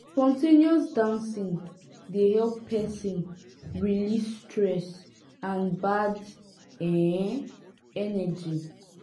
spon ten ous dancing dey help person release stress and bad um energy